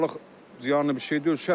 Balıq ziyanlı bir şey deyil.